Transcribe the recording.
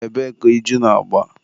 ebee ka iju na-agba?